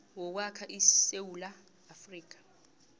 wokwakha isewula afrika